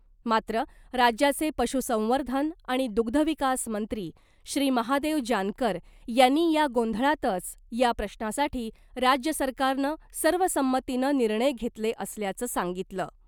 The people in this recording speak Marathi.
मात्र राज्याचे पशुसंवर्धन आणि दुग्धविकास मंत्री श्री महादेव जानकर यांनी या गोंधळातच या प्रश्नासाठी राज्य सरकारनं सर्वसंमतीनं निर्णय घेतले असल्याचं सांगितलं .